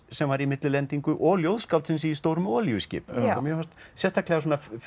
sem var í millilendingu og ljóðskáldsins í stórum olíuskipum sérstaklega